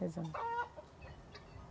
Rezando.